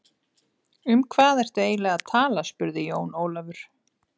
Um hvað ertu eiginlega að tala spurði Jón Ólafur.